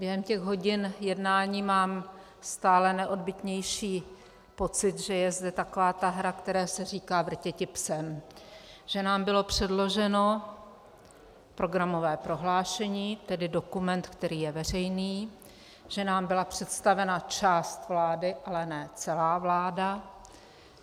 Během těch hodin jednání mám stále neodbytnější pocit, že je zde taková ta hra, které se říká vrtěti psem, že nám bylo předloženo programové prohlášení, tedy dokument, který je veřejný, že nám byla představena část vlády, ale ne celá vláda.